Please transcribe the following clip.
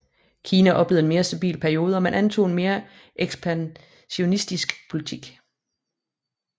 Kina oplevede en mere stabil periode og man antog en mere ekspansionistisk politik